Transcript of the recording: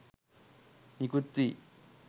නිකුත් වී